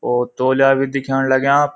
ओ तोल्या भी दिखेंण लग्याँ।